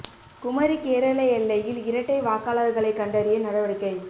குமரி கேரள எல்லையில் இரட்டை வாக்காளர்களை கண்டறிய நடவடிக்கை